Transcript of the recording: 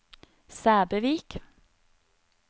Sæbøvik